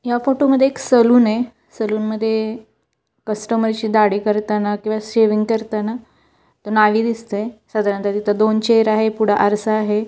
या फोटो मध्ये सलून आहे सलून मध्ये कस्टमर शी दाढी करताना किंवा शेविंग करताना तो न्हावी दिसतोय साधारणतः तिथ दोन चेअर आहे आरसा आहे.